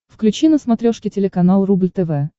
включи на смотрешке телеканал рубль тв